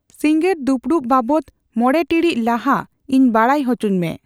ᱥᱤᱸᱜᱟᱹᱲ ᱫᱩᱯᱩᱲᱩᱵ ᱵᱟᱵᱚᱫ ᱢᱚᱬᱮ ᱴᱤᱬᱤᱡ ᱞᱟᱦᱟ ᱤᱧ ᱵᱟᱰᱟᱭ ᱦᱚᱪᱚᱤᱧ ᱢᱮ